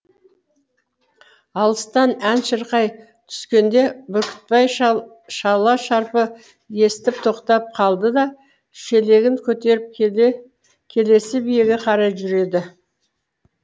алыстан ән шырқай түскенде бүркітбай шала шарпы естіп тоқтап қалды да шелегін көтеріп келесі биеге қарай жүреді